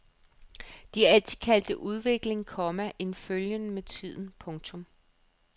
De har altid kaldt det udvikling, komma en følgen med tiden. punktum